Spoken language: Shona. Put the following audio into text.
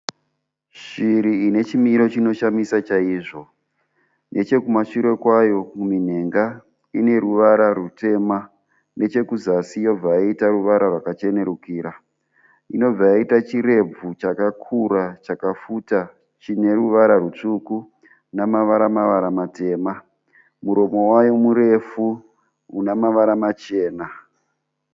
Shiri ine chimiro chinoshamisa chaizvo. Nechekumashure kwayo kuminhenga ine ruvara rutema. Nechekuzasi yobva yaita ruvara rwakachenurukira. Inobva yaita chirebvu chakakura, chakafuta chine ruvara rutsvuku nemavara mavara matema. Muromo wayo murefu une mavara machena.